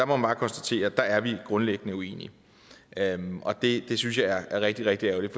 man bare konstatere at der er vi grundlæggende uenige og det synes jeg er rigtig rigtig ærgerligt